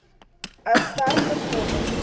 астарта фото